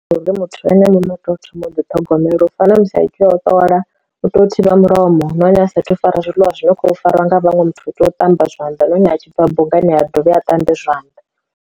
Uri muthu ene muṋe u tea u thoma u ḓi ṱhogomela u fana na musi i tea u ṱola u to thivha mulomo nahone a sa athu u fara zwiḽiwa zwi no kho fariwa nga vhaṅwe muthu u tea u ṱamba zwanḓa na hone a tshi bva bungani ha a dovhe a ṱambe zwanḓa.